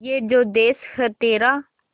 ये जो देस है तेरा